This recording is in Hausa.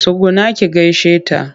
Tsugunna ki gaishe ta!